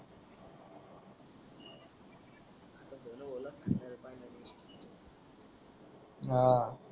आह